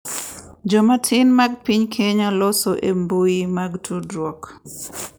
Jomatin mag piny Kenya loso e mbui mag tudruok